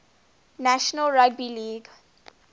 national rugby league